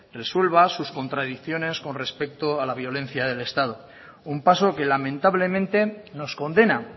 resuelva sus contradicciones con respecto a la violencia del estado un paso que lamentablemente nos condena